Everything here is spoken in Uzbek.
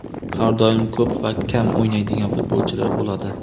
Har doim ko‘p va kam o‘ynaydigan futbolchilar bo‘ladi.